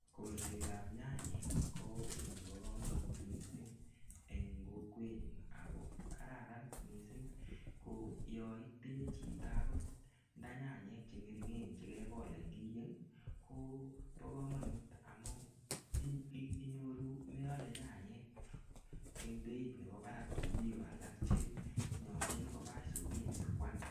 Kolset ap nyanyek ko kiy nebo komonut mising eng kokwetnyun ako kararan mising ko yonitinye chito akot ndanyanyek che ng'ering'en chekekol eng kiyeng Kobo komonut amu inyoru meole nyanyek eng beit nebo barak kou biko alak che nyolchin koba akoi soket sikoal.